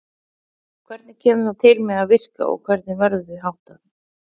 Hvernig kemur það til með að virka og hvernig verður því háttað?